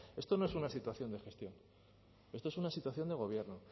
esto no es una situación de gestión esto es una situación de gobierno